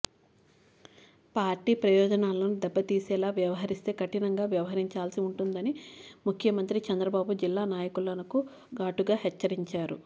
party ప్రయోజనాలను దెబ్బతీసేలా వ్యవహరిస్తే కఠినంగా వ్యవహ రించాల్సి ఉంటుందని అని ముఖ్యమంత్రి చంద్రబాబు జిల్లా నాయకులను ఘాటుగా హెచ్చరించారు